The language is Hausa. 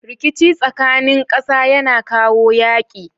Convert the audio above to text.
Rikici tsakanin ƙasa yAna kawo yaƙi